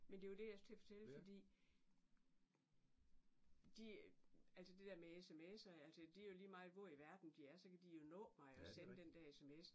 Men var det jeg skulle til at fortælle fordi de altså det der med sms'er altså det jo lige meget hvor i verden de er så kan de jo nå mig og sende den der sms